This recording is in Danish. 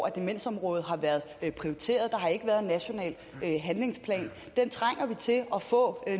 at demensområdet har været prioriteret og der har ikke været en national handlingsplan den trænger vi til at få